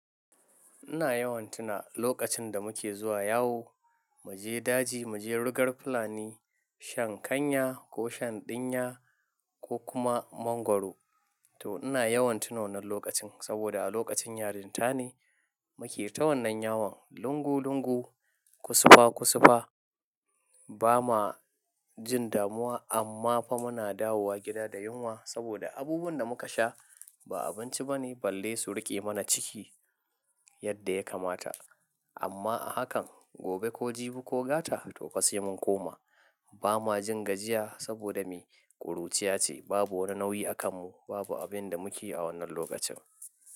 Ina yawan tuna lokacin da muke zuwa yawo, mu je daji, mu je rigar fulani, shan kanya ko shan ɗinya ko kuma mangwaro. To ina yawan tuno wannan lokacin sabida a lokacin yarinta ne muke ta wannan yawon lungu lungu, kusufa kusufa. Ba ma jin damuwa amma fa muna dawowa gida da yunwa sabida abubuwan da muka sha ba abinci bane balle su riƙe mana ciki yadda yakamata. Amma a hakan, gobe ko jibi ko gata toh fa sai mun koma. Ba ma jin gajiya sabida me, ƙuruciya ce. Babu wani nauyi a kanmu, babu abinda muke yi a wannan lokacin.